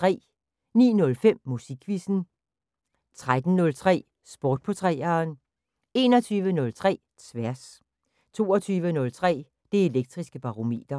09:05: Musikquizzen 13:03: Sport på 3'eren 21:03: Tværs 22:03: Det Elektriske Barometer